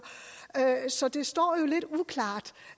så det står jo lidt uklart